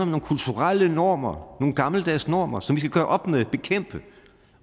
nogle kulturelle normer nogle gammeldags normer som vi skal gøre op med bekæmpe